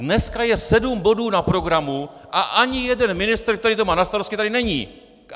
Dneska je sedm bodů na programu a ani jeden ministr, který to má na starosti, tady není!